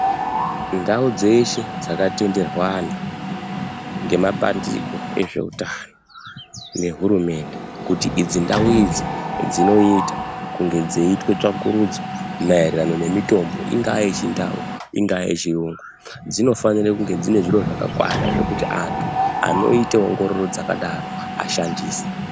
Ndau dzeshe dzakatenderwa anhu ngema pandiko ezveutano nehurumende kuti idzi ndau idzi dzinoita kunge dzeiitwe tsvakurudzo maererano nemitombo ingaa yechindau, ingaa yechiyungu, dzinofanire kunge dzine zvakakwana zvekuti antu anoite ongororo dzakadaro ashandise.